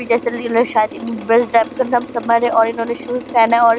vacation लिखा है शायद इस बस का नाम समर है इन्होने शूज़ पहना है और --